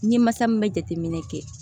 N ye masa min bɛ jateminɛ kɛ